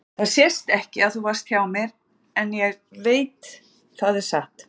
Það sést ekki að þú varst hjá mér en ég veit það er satt.